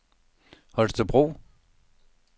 Holstebro